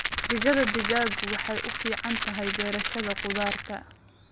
Digada digaagu waxay u fiican tahay beerashada khudaarta